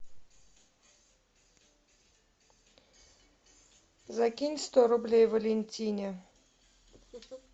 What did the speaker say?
закинь сто рублей валентине